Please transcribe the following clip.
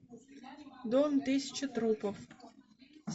дом тысячи трупов